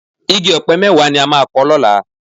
Igi ọ̀pẹ mẹ́wàá ni a máa kọ lọ́la